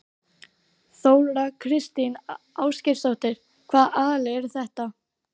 Þóra Kristín Ásgeirsdóttir: Hvaða aðilar eru þetta?